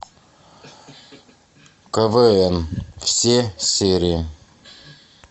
квн все серии